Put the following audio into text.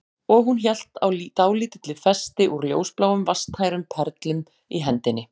Og hún hélt á dálítilli festi úr ljósbláum vatnstærum perlum í hendinni